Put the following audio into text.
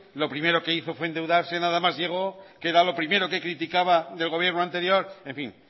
lo que primero que hizo fue endeudarse nada más llegó que era lo primero que criticaba del gobierno anterior en fin